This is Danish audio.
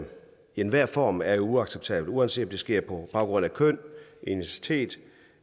enhver form er uacceptabel uanset om det sker på baggrund af køn etnicitet